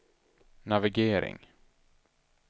navigering